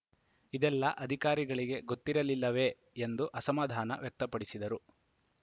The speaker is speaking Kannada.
ಇದೆಲ್ಲ ಅಧಿಕಾರಿಗಳಿಗೆ ಗೊತ್ತಿರಲಿಲ್ಲವೇ ಎಂದು ಅಸಮಾಧಾನ ವ್ಯಕ್ತಪಡಿಸಿದರು